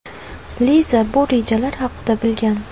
Liza bu rejalar haqida bilgan.